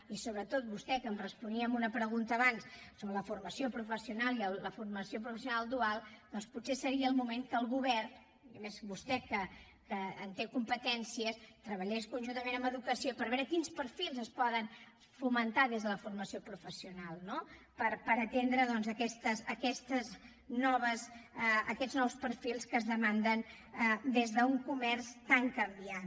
i sobretot vostè que em responia amb una pregunta abans sobre la formació professional i la formació professional dual doncs potser seria el moment que el govern i més vostè que en té competències treballés conjuntament amb educació per veure quins perfils es poden fomentar des de la formació professional no per atendre doncs aquests nous perfils que es demanden des d’un comerç tan canviant